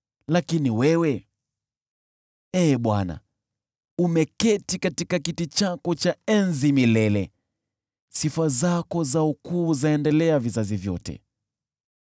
Lakini wewe, Ee Bwana , umeketi katika kiti chako cha enzi milele, sifa zako za ukuu zaendelea vizazi vyote.